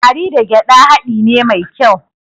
Garri da gyaɗa haɗi ne mai kyau.